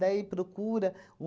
Daí procura.